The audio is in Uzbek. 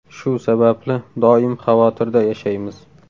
Shu sababli doim xavotirda yashaymiz.